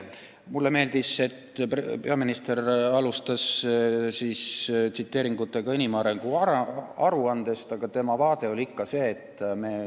Mulle meeldis, et peaminister alustas vastamist tsiteeringutega inimarengu aruandest, nimetades isegi lasteaedu.